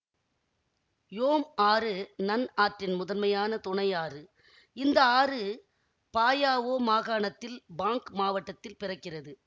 யோம் ஆறு நன் ஆற்றின் முதன்மையான துணையாறு இந்த ஆறு பாயாவோ மாகாணத்தில் பாங் மாவட்டத்தில் பிறக்கிறது